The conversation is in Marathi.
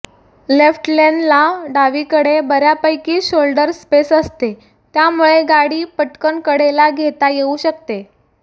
लेफ्ट लेन ला डावीकडे बर्यापैकी शोल्डर स्पेस असते त्यामुळे गाडी पटकन कडेला घेता येऊ शकते